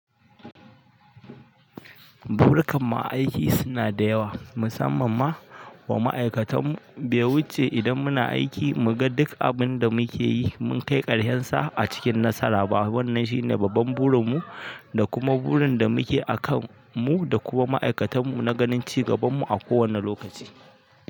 Buru kanmu aiki suna da yawa, musamman ma wa ma'aikatan mu. Be wuce idan muna aiki, mu ga duk abin da muke yi, mun kai ƙarshen sa a cikin nasara. Baban nan shine babban burin mu da kuma burin da muke akan mu da kuma ma'aikatan mu na ganin ci gaban mu a kowane lokaci.